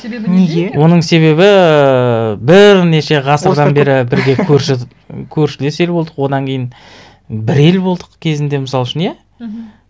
себебі неде неге оның себебі ііі бірнеше ғасырдан бері бірге көрші көршілес ел болдық одан кейін бір ел болдық кезінде мысал үшін иә мхм